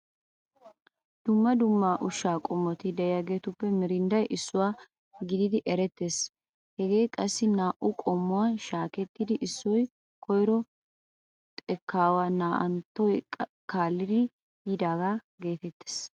Dumma dumma ushshaa qommoti de'iyageetuppe miirindday issuwa gididi erettees. Hagee qassi naa"u qommuwan shaakettidi issoy koyro xekkaawaa naa"anttoy kaallidi yiidaagaa geetettees.